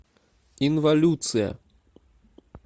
инвалюция